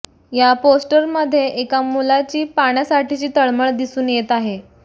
या पोस्टरमध्ये एका मुलाची पाण्यासाठीची तळमळ दिसून येत आहे